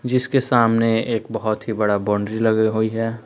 जिसके सामने एक बहुत ही बड़ा बाउंड्री लग हुई है।